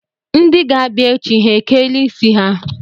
Ndị ga-abịa echi ha ekeela isi ha?